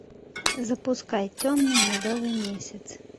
запускай темный медовый месяц